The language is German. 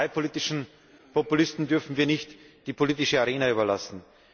Diesen parteipolitischen Populisten dürfen wir nicht die politische Arena überlassen.